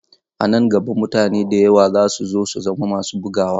A nan gaba mutane da yawa za su so su zama masu bugawa.